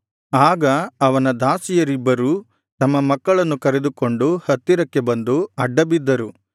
ಆಗ ಅವನ ದಾಸಿಯರಿಬ್ಬರೂ ತಮ್ಮ ಮಕ್ಕಳನ್ನು ಕರೆದುಕೊಂಡು ಹತ್ತಿರಕ್ಕೆ ಬಂದು ಅಡ್ಡಬಿದ್ದರು